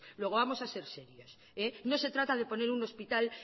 luego vamos a ser serios no se trata de poner un hospital